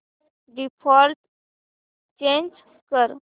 default change कर